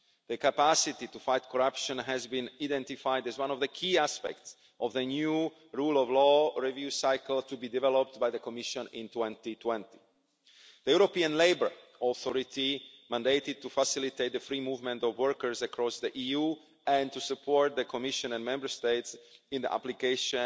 The capacity to fight corruption has been identified as one of the key aspects of the new rule of law review cycle to be developed by the Commission in 2020. The European Labour Authority, mandated to facilitate the free movement of workers across the EU and to support the Commission and Member States in the application